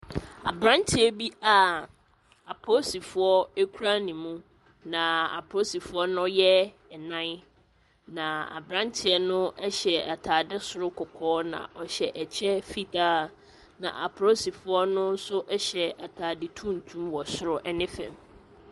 Aberanteɛ bi a apolisifoɔ kura ne mu, naaaa apolisifoɔ no yɛ nnan, naaaa aberanteɛ no hyɛ atade soro kɔkɔɔ, na ɔhyɛ ɛkyɛ fitaa, na apolisifoɔ no nso hyɛ atade tuntum wɔ soro ne fam.